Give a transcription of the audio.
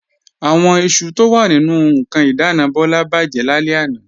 Àwọn iṣu tó wà nínú ǹkan ìdáàna Bọ́lá bàjẹ́ lálẹ́ àná